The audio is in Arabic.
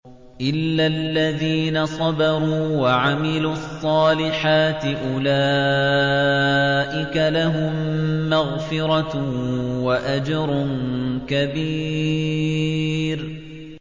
إِلَّا الَّذِينَ صَبَرُوا وَعَمِلُوا الصَّالِحَاتِ أُولَٰئِكَ لَهُم مَّغْفِرَةٌ وَأَجْرٌ كَبِيرٌ